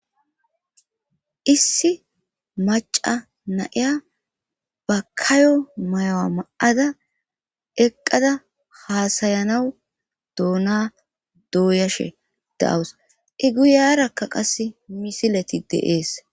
issi maca naiya bakayo mayowa ma7ada eqqada haasayanawu doona dooyashe dawus i guyarakka qasse misileti deees